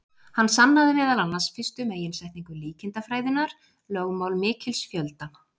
Hann sannaði meðal annars fyrstu meginsetningu líkindafræðinnar, lögmál mikils fjölda.